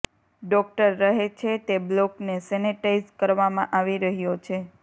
doctor રહે છે તે બ્લોકને સેનેટાઈઝ કરવામાં આવી રહ્યો છે